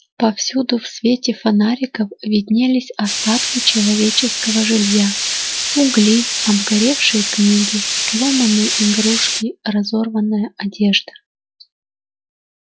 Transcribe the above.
повсюду в свете фонариков виднелись остатки человеческого жилья угли обгоревшие книги сломанные игрушки разорванная одежда